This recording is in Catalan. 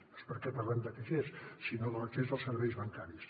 no és perquè parlem de caixers sinó de l’accés als serveis bancaris